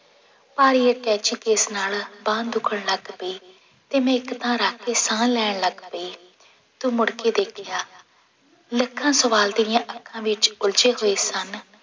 ਭਾਰੀ attache case ਨਾਲ ਬਾਂਹ ਦੁੱਖਣ ਲੱਗ ਪਈ ਤੇ ਮੈਂ ਇੱਕ ਥਾਂ ਰੱਖ ਕੇ ਸਾਹ ਲੈਣ ਲੱਗ ਪਈ, ਤੂੰ ਮੁੜ ਕੇ ਦੇਖਿਆ, ਲੱਖਾਂ ਸਵਾਲ ਤੇਰੀਆਂ ਅੱਖਾਂ ਵਿੱਚ ਉਲਝੇ ਹੋਏ ਸਨ